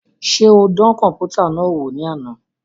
Ṣe o dàn kọnputa náà wò ni àna?